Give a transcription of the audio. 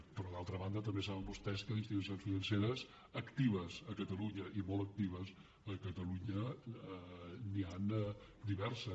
però d’altra banda també saben vostès que d’institucions financeres actives a catalunya i molt actives a catalunya n’hi han diverses